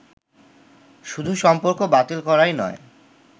শুধু সম্পর্ক বাতিল করাই নয়